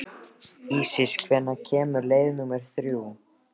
Ísis, hvenær kemur leið númer þrjú?